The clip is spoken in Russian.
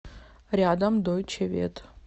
рядом дойче вет